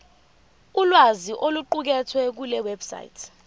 ulwazi oluqukethwe kulewebsite